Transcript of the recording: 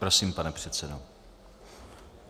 Prosím, pane předsedo.